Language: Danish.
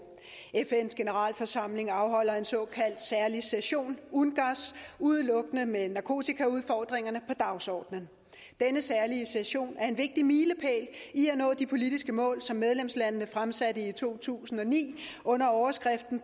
fns generalforsamling afholder en såkaldt særlig session ungass udelukkende med narkotikaudfordringerne på dagsordenen denne særlige session er en vigtig milepæl i at nå de politiske mål som medlemslandene fremsatte i to tusind og ni under overskriften